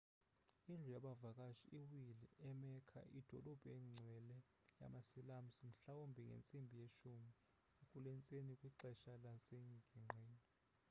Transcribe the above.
indlu yabavakashi iwile e-mecca idolophu engcwele yama-silamusi mhlawumbi ngentsimbi yesi-10 kulentsasa kwixesha lasengingqini